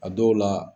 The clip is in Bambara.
A dɔw la